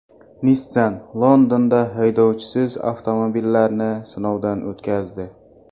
Nissan Londonda haydovchisiz avtomobillarni sinovdan o‘tkazdi.